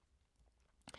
DR P2